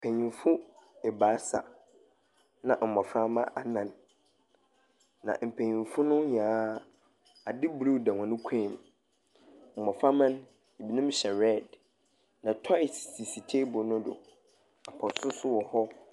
Mpanyinfo abaasa na mmoframa anan. Na mpaninfo nyinaa ade blu da wɔn kɔn mu. Mmoframa no ebinom hyɛ rɛd. Na tɔes sisi teebol no do. Pɔt so so wɔhɔ.